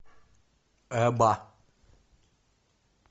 эба